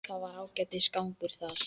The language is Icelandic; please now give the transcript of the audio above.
Það er ágætis gangur þar.